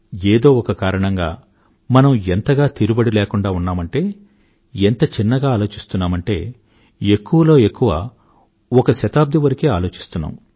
ఏదో ఒక కారణంగా మనం ఎంతగా తీరుబడి లేకుండా ఉన్నామంటే ఎంత చిన్నగా ఆలోచిస్తున్నామంటే ఎక్కువలో ఎక్కువ ఒక శతాబ్దం వరకే ఆలోచిస్తున్నాం